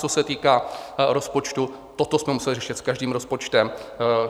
Co se týká rozpočtu, toto jsme museli řešit s každým rozpočtem.